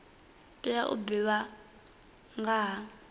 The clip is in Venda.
tea u divhadzwa nga ha